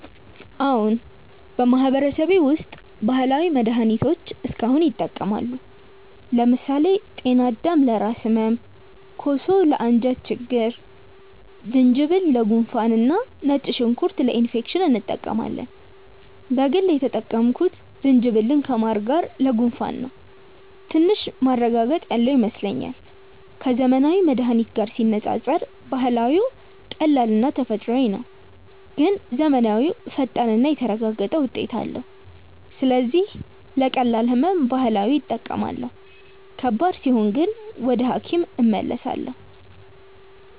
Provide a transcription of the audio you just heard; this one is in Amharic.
አዎን፣ በማህበረሰቤ ውስጥ ባህላዊ መድሃኒቶች እስካሁን ይጠቀማሉ። ለምሳሌ ጤናዳም ለራስ ህመም፣ ኮሶ ለአንጀት ችግኝ፣ ዝንጅብል ለጉንፋን እና ነጭ ሽንኩርት ለኢንፌክሽን እንጠቀማለን። በግል የተጠቀምኩት ዝንጅብልን ከማር ጋር ለጉንፋን ነው፤ ትንሽ ማረጋገጥ ያለው ይመስለኛል። ከዘመናዊ መድሃኒት ጋር ሲነጻጸር ባህላዊው ቀላልና ተፈጥሯዊ ነው፣ ግን ዘመናዊው ፈጣንና የተረጋገጠ ውጤት አለው። ስለዚህ ለቀላል ህመም ባህላዊ እጠቀማለሁ፣ ከባድ ሲሆን ግን ወደ ሐኪም እመለሳለሁ።